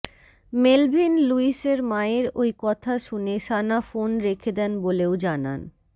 Melvin লুইসের মায়ের ওই কথা শুনে সানা ফোন রেখে দেন বলেও জানান